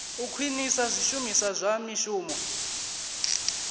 u khwinisa zwishumiswa zwa mishumo